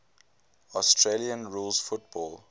australian rules football